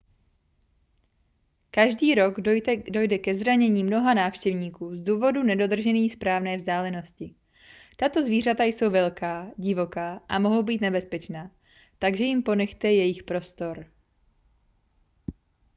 každý rok dojde ke zranění mnoha návštěvníků z důvodu nedodržení správné vzdálenosti tato zvířata jsou velká divoká a mohou být nebezpečná takže jim ponechte jejich prostor